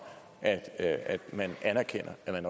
at at man anerkender at